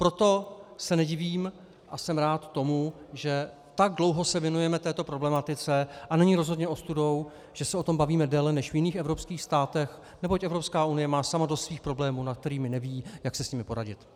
Proto se nedivím a jsem rád tomu, že tak dlouho se věnujeme této problematice, a není rozhodně ostudou, že se o tom bavíme déle než v jiných evropských státech, neboť Evropská unie má sama dost svých problémů, o kterých neví, jak si s nimi poradit.